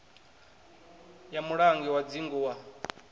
ya mulangi wa dzingu wa